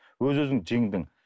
өз өзің жеңдің